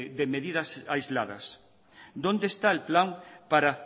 de medidas aisladas dónde está el plan para